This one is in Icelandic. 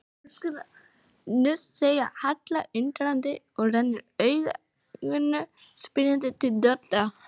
Nú, segir Halla undrandi og rennir augunum spyrjandi til Dodda.